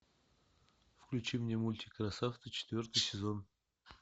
включи мне мультик красавцы четвертый сезон